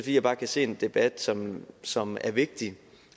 jeg kan se en debat som som er vigtig